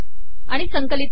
आिण संकिलत कर